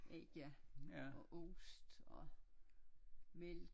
Æg ja og ost og